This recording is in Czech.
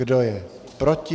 Kdo je proti?